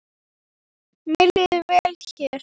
Mér líður vel hér.